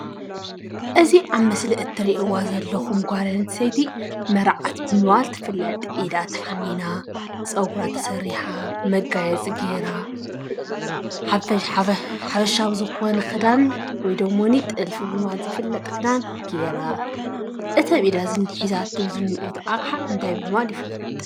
እዚ ኣብ ምስሊ እትርእዋ ዘለኩም ጓል ኣንስተይቲ መርዓት ብምባል እትፍለጥ ኢዳ ተሓኒና፣ ፀጉራ ተሰሪሓ፣ መጓየፂ ጌራ ሓበሻዊ ዝኾነ ክዳን ወይ ደሞኒ ጥልፊ ብምባል ዝፍለጥ ክዳን ጌራ፣ እቲ ኣብ ኢዳ ዝንሄ ሒዛቶ ኣቕሓ እንታይ ብምባል ይፍለጥ?